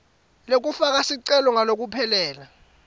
lekufaka sicelo ngalokuphelele